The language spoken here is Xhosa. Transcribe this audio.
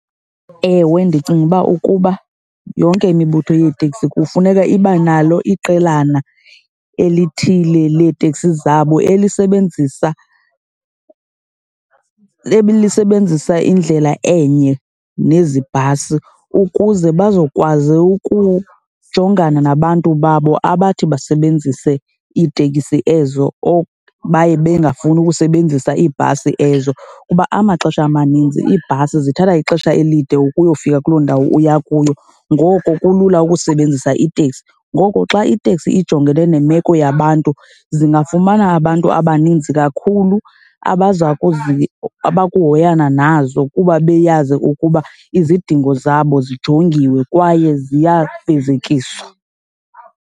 Ewe, ndicinga uba ukuba yonke imibutho yeeteksi kufuneka iba nalo iqelana elithile leetekisi zabo elisebenzisa, elisebenzisa indlela enye nezi bhasi ukuze bazokwazi ukujongana nabantu babo abathi basebenzise iitekisi ezo or baye bengafuni ukusebenzisa iibhasi ezo. Kuba amaxesha amaninzi iibhasi zithatha ixesha elide ukuyofika kuloo ndawo uya kuyo ngoko kulula ukusebenzisa iteksi. Ngoko xa iteksi ijongene nemeko yabantu, zingafumana abantu abaninzi kakhulu abaza abakuhoyana nazo kuba beyazi ukuba izidingo zabo zijongiwe kwaye ziyafezekiswa.